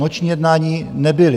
Noční jednání nebyla.